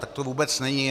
Tak to vůbec není.